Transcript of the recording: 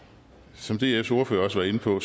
som dfs ordfører også var inde på